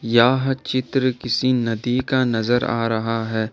यह चित्र किसी नदी का नजर आ रहा है।